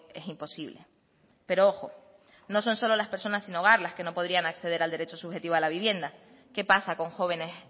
es imposible pero ojo no son solo las personas sin hogar las que no podrían acceder al derecho subjetivo a la vivienda qué pasa con jóvenes